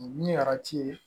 Ni arati ye